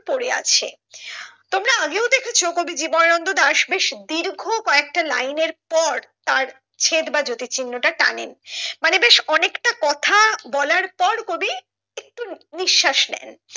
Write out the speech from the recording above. পড়ে আছে তোমরা আগে ও দেখেছো কবি জীবনানন্দ দাস বেশ দীর্ঘ কয়েকটা line এর পর তার ছেদ বা জ্যোতি চিহ্ন টা টানেন মানে বেশ অনেকটা কথা বলার পর কবি একটু নিঃশ্বাস নেন।